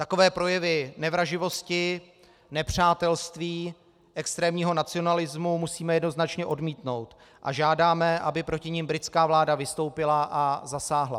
Takové projevy nevraživosti, nepřátelství, extrémního nacionalismu, musíme jednoznačně odmítnout a žádáme, aby proti nim britská vláda vystoupila a zasáhla.